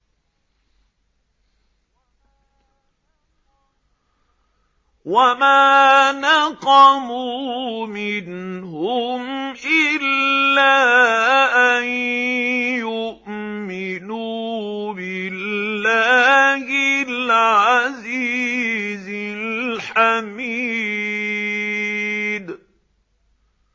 وَمَا نَقَمُوا مِنْهُمْ إِلَّا أَن يُؤْمِنُوا بِاللَّهِ الْعَزِيزِ الْحَمِيدِ